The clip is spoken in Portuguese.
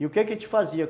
E o que que a gente fazia?